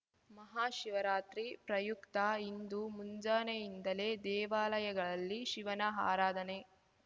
ಮಹಾಶಿವರಾತ್ರಿ ಪ್ರಯುಕ್ತ ಇಂದು ಮುಂಜಾನೆಯಿಂದಲೇ ದೇವಾಲಯಗಳಲ್ಲಿ ಶಿವನ ಆರಾಧನೆ